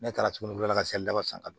Ne taara tuguni ka se daba san